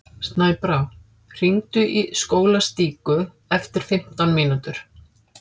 Snæbrá, hringdu í Skólastíku eftir fimmtán mínútur.